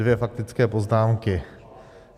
Dvě faktické poznámky.